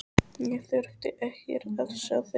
Ég þurfti ekkert að sjá þig.